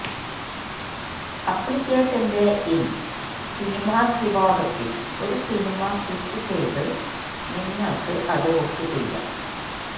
അപ്ലിക്കേഷന്റെ in cinemas വിഭാഗത്തിൽ ഒരു cinema ക്ലിക്കുചെയ്ത് നിങ്ങൾക്ക് അത് ബുക്ക് ചെയ്യാം